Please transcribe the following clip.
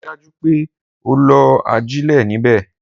Rii daju pe o lo ajile nibẹ!